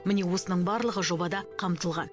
міне осының барлығы жобада қамтылған